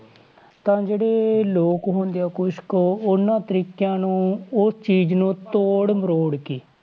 ਪਰ ਜਿਹੜੇ ਲੋਕ ਹੁੰਦੇ ਆ ਕੁਛ ਕੁ ਉਹਨਾਂ ਤਰੀਕਿਆਂ ਨੂੰ ਉਹ ਚੀਜ਼ ਨੂੰ ਤੋੜ ਮਰੋੜ ਕੇ,